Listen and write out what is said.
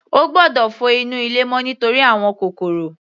Ó gbọ́dọ̀ fọ inú ilé mọ́ nítorí àwọn kòkòrò.